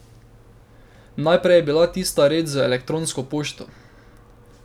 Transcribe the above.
Najprej je bila tista reč z elektronsko pošto.